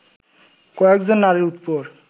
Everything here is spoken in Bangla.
কয়েকজন নারীর উপর